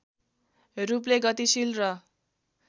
रूपले गतिशील र